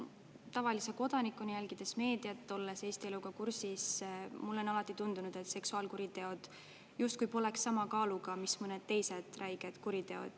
Tavalise kodanikuna, jälgides meediat, olles Eesti eluga kursis, mulle on alati tundunud, et seksuaalkuriteod justkui poleks sama kaaluga, mis mõned teised räiged kuriteod.